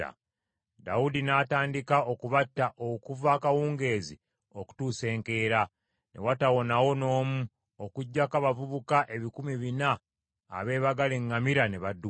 Dawudi n’atandika okubatta okuva akawungeezi okutuusa enkeera, ne watawonawo n’omu, okuggyako abavubuka ebikumi bina abeebagala eŋŋamira ne badduka.